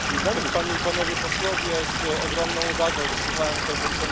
Z ogromną uwagą wysłuchałem tego, co mówił pan komisarz Vella.